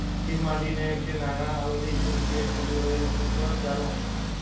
થી માંડીને કે નાંનાં આ બધી agency એ ખોલી હોય એ લોકો નું બધા નું આવી ગયું.